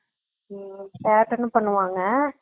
உம் பாத்தவோன்னே பண்ணுவாங்க